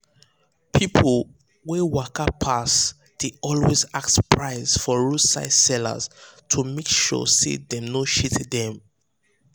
people wey waka pass dey always ask price for roadside seller to make sure say dem no cheat um them.